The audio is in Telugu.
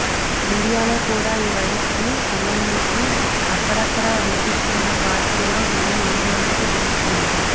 ఇండియాలో కూడా ఈ వైరస్ కి సంబంధించి అక్కడక్కడా వినిపిస్తున్న వార్తలలో జనం ఆందోళనకు గురవుతున్నారు